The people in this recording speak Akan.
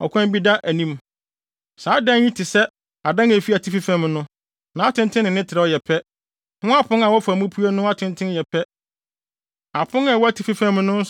ɔkwan bi da anim. Saa adan yi te sɛ adan a ɛwɔ atifi fam no; nʼatenten ne ne trɛw yɛ pɛ, ho apon a wɔfa mu pue no atenten yɛ pɛ. Apon a ɛwɔ atifi fam no